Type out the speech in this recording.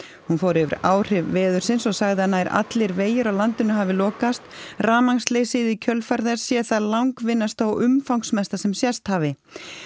hún fór yfir áhrif veðursins og sagði að nær allir vegir á landinu hafi lokast rafmagnsleysið í kjölfar þess sé það langvinnasta og umfangsmesta sem sést hafi